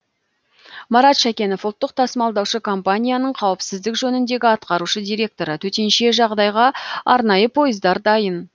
марат шәкенов ұлттық тасымалдаушы компанияның қауіпсіздік жөніндегі атқарушы директоры төтенше жағдайға арнайы пойыздар дайын